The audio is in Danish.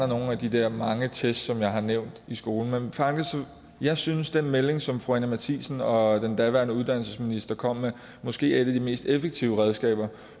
nogle af de der mange test som jeg har nævnt i skolen jeg synes at den melding som fru anni matthiesen og den daværende uddannelsesminister kom med måske er et af de mest effektive redskaber